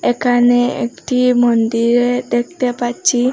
একানে একটি মন্দিরের দেখতে পাচ্চি।